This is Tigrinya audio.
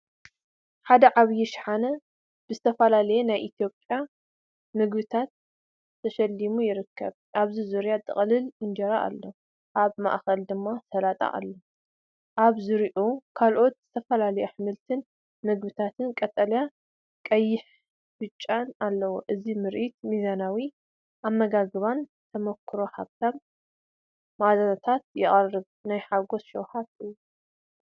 ሓደ ዓቢይ ሻሓነ ብዝተፈላለዩ ናይ ኢትዮጵያ ምግቢታት ተሸሊሙ ይርከብ። ኣብ ዙርያ ጥቕላል እንጀራ ኣሎ፣ ኣብ ማእከል ድማ ሰላጣን ኣሎ። ኣብ ዙርያኡ ካልኦት ዝተፈላለዩ ኣሕምልትን መግብታትን ቀጠልያ፡ቀይሕን ብጫን ኣለው። እዚ ምርኢት ሚዛናዊ ኣመጋግባን ተመኩሮ ሃብታም መኣዛታትን የቕርብ። ናይ ሓጎስን ሸውሃትን እዩ።